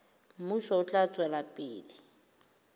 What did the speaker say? mmuso o tla tswela pele